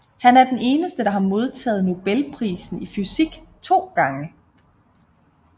Han er den eneste der har modtaget Nobelprisen i fysik to gange